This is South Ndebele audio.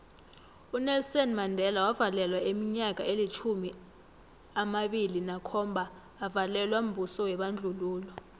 unelson mandela wavalelwa iminyaka elitjhumi amabili nakhomba avalelwa mbuso webandlululo